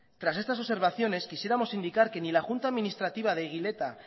tras estas observaciones quisiéramos indicar que ni la junta administrativa de eguileta